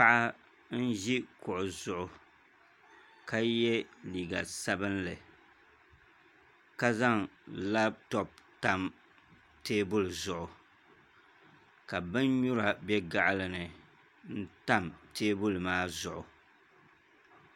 Paɣa n ʒi kuɣu zuɣu ka yɛ liiga sabinli ka zaŋ labtop tam teebuli zuɣu ka bin nyura bɛ gaɣali ni n tam teebuli maa zuɣu